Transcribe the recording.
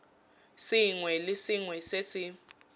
sengwe le sengwe se se